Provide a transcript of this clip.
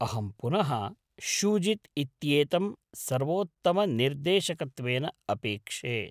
अहं पुनः शूजित् इत्येतं सर्वोत्तमनिर्देशकत्वेन अपेक्षे।